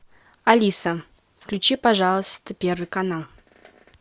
алиса включи пожалуйста первый канал